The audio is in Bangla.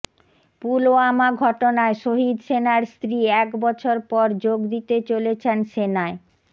পুলওয়ামা ঘটনায় শহিদ সেনার স্ত্রী এক বছর পর যোগ দিতে চলেছেন সেনায়